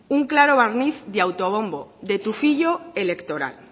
un claro barniz de autobombo de tufillo electoral